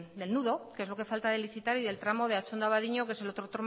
del nudo que es lo que falta de licitar y el tramo de atxondo abadiño que es el otro